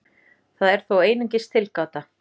Það er þó einungis tilgáta.